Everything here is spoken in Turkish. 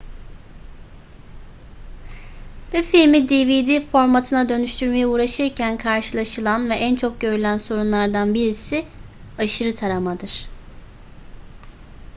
bir filmi dvd formatına dönüştürmeye uğraşırken karşılaşılan ve en çok görülen sorunlardan birisi aşırı taramadır